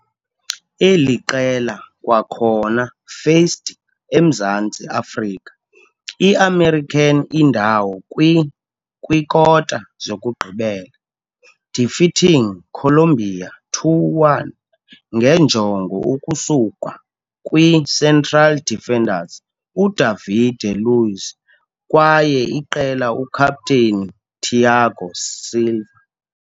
eli qela kwakhona faced eMzantsi Afrika i-american indawo kwi - kwikota-zokugqibela, defeating Colombia 2-1 ngenjongo ukusuka kwi-central defenders uDavide Luiz kwaye iqela ukaptheni Thiago Silva.